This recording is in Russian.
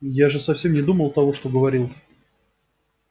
я же совсем не думал того что говорил